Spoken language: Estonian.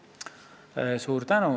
Suur tänu!